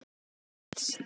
Hvernig getur slíkt gerst?